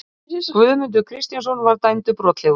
Guðmundur Kristjánsson var dæmdur brotlegur.